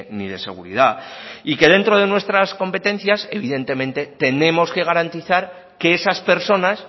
ni de seguridad y que dentro de nuestras competencias evidentemente tenemos que garantizar que esas personas